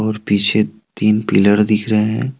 और पीछे तीन पिलर दिख रहे हैं।